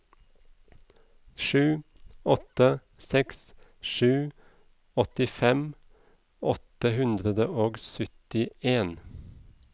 sju åtte seks sju åttifem åtte hundre og syttien